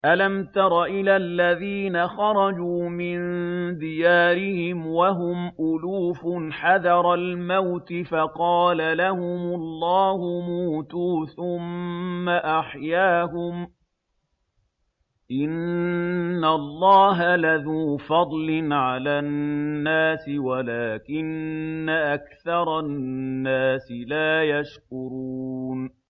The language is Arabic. ۞ أَلَمْ تَرَ إِلَى الَّذِينَ خَرَجُوا مِن دِيَارِهِمْ وَهُمْ أُلُوفٌ حَذَرَ الْمَوْتِ فَقَالَ لَهُمُ اللَّهُ مُوتُوا ثُمَّ أَحْيَاهُمْ ۚ إِنَّ اللَّهَ لَذُو فَضْلٍ عَلَى النَّاسِ وَلَٰكِنَّ أَكْثَرَ النَّاسِ لَا يَشْكُرُونَ